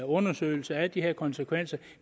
undersøgelse af de her konsekvenser